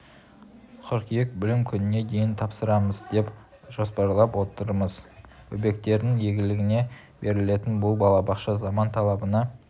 қыркүйек білім күніне дейін тапсырамыз деп жоспарлап отырмыз бөбектердің игілігіне берілетін бұл балабақша заман талабына